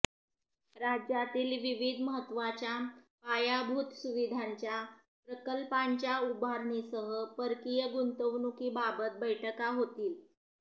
राज्यातील विविध महत्त्वाच्या पायाभूत सुविधांच्या प्रकल्पांच्या उभारणीसह परकीय गुंतवणुकीबाबत बैठका होतील